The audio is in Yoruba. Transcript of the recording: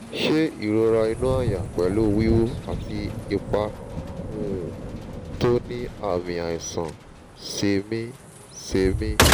ṣé ìrora inú àyà pẹ̀lú wíwú àti ipa um tó ní àmì àìsàn sẹ́mìí-sẹ́mìí?